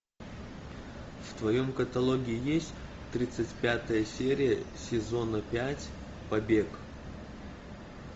в твоем каталоге есть тридцать пятая серия сезона пять побег